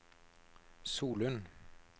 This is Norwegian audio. Solund